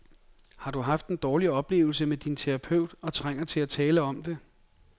Har du haft dårlige oplevelser med din terapeut og trænger til at tale om det?